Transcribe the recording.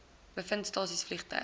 bevind stasies vliegtuie